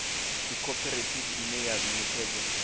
ndi khophorethivi ine ya ṋekedza